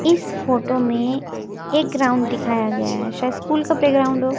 इस फोटो में एक ग्राउंड दिखाया गया है शायद स्कूल का प्लेग्राउंड हो--